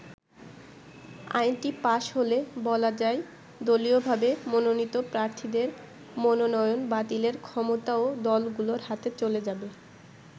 আইনটি পাশ হলে বলা যায় দলীয়ভাবে মনোনীত প্রার্থীদের মনোনয়ন বাতিলের ক্ষমতাও দলগুলোর হাতে চলে যা্বে।